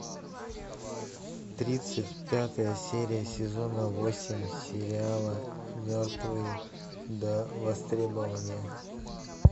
тридцать пятая серия сезона восемь сериала мертвые до востребования